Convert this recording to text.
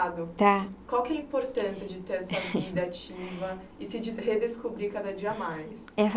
Tá. Qual que é a importância de ter essa vida ativa e se de redescobrir cada dia mais? Essa